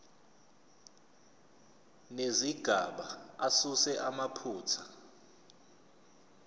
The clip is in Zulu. nezigaba asuse amaphutha